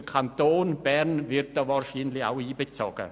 Der Kanton Bern wird hier wahrscheinlich auch einbezogen.